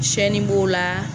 Sɛni b'o la.